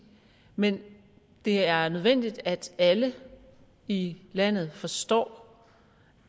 men det er er nødvendigt at alle i landet forstår